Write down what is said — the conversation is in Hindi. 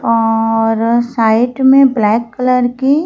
और साइड में ब्लैक कलर की--